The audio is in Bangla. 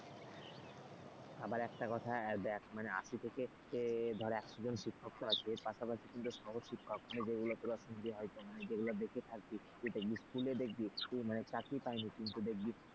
আবার একটা কথা মানে আশি থেকে ধর একশো জন শিক্ষক আছে এর পাশাপাশি কিন্তু সহ শিক্ষক মানে যেগুলো যেগুলো দেখে থাকবে school দেখবি মানে যেগুলো চাকরি পায়নি কিন্তু দেখবি,